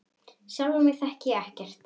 Sjálfa mig þekkti ég ekkert.